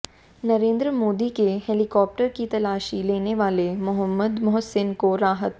नरेंद्र मोदी के हेलिकॉप्टर की तलाशी लेने वाले मोहम्मद मोहसिन को राहत